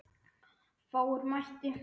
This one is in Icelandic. Fáir mættu.